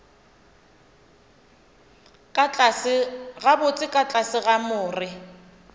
gabotse ka tlase ga more